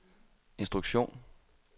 instruktion